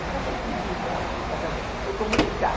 Nunca foi pedir minha mão em casa, foi comunicar.